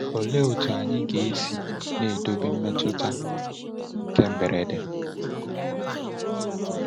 Olee otu anyị ga-esi ga-esi edobe mmetụta nke mberede?